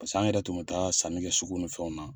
Paseke an yɛrɛ tun bɛ taa sanni kɛ sugu nin fɛnw na.